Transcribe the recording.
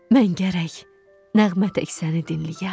Mən gərək nəğmə tək səni dinləyəm.